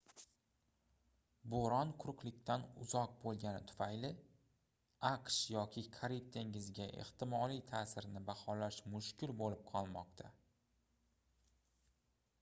boʻron quruqlikdan uzoq boʻlgani tufayli aqsh yoki karib dengiziga ehtimoliy taʼsirini baholash mushkul boʻlib qolmoqda